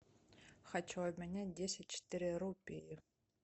хочу обменять десять четыре рупии